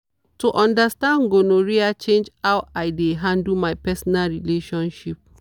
to understand gonorrhea change how i dey handle my personal relationship.